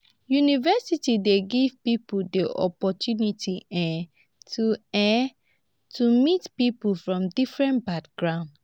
university dey give pipo di opportunity um to um to meet pipo from different background